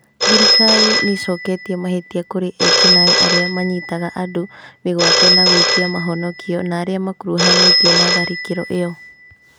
Thirikari nĩĩcoketie mahĩtia kũrĩ ekinaĩ arĩa manyitaga andũ mĩgwate na gwĩtia mahonokio narĩa makuruhanĩtio na tharĩkĩro ĩyo